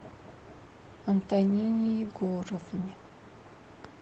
антонине егоровне